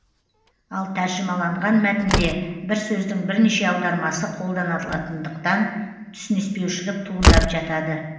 ал тәржімаланған мәтінде бір сөздің бірнеше аудармасы қолданылатындықтан түсініспеушілік туындап жатады